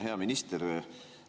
Hea minister!